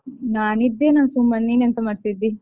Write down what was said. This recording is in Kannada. ನಾನಿದ್ದೇನಾ ಸುಮ್ಮನೆ ನೀನೆಂತ ಮಾಡ್ತಿದ್ದಿ?